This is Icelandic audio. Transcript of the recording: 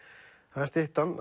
það er styttan